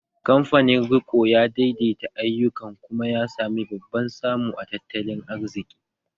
Kamfanin riko ya daidaita ayyukan kuma ya sami babban samu a tattalin arziki